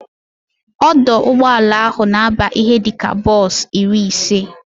Ọdụ ụgbọala ahụ na aba ihe dịka bos iri ise